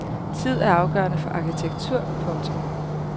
Tid er afgørende for arkitektur. punktum